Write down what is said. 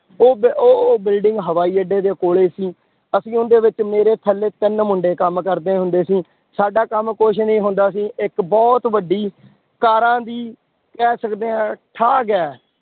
ਉਹ ਬ ਉਹ, ਉਹ building ਹਵਾਈ ਅੱਡੇ ਦੇ ਕੋਲੇ ਸੀ, ਅਸੀਂ ਉਹਦੇ ਵਿੱਚ ਮੇਰੇ ਥੱਲੇ ਤਿੰਨ ਮੁੰਡੇ ਕੰਮ ਕਰਦੇ ਹੁੰਦੇ ਸੀ, ਸਾਡਾ ਕੰਮ ਕੁਛ ਨੀ ਹੁੰਦਾ ਸੀ, ਇੱਕ ਬਹੁਤ ਵੱਡੀ ਕਾਰਾਂ ਦੀ ਕਹਿ ਸਕਦੇ ਹਾਂ ਠਾਗ ਹੈ,